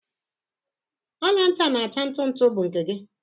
Ọla ntị a na-acha ntu ntu bụ nke gị?